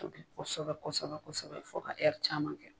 kosɛbɛ kosɛbɛ kosɛbɛ fo ka caman kɛ.